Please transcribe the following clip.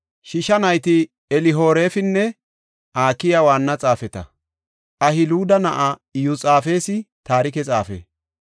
Shiisha nayti Elihorefinne Akiyi waanna xaafeta; Ahiluda na7ay Iyosaafexi taarike xaafe;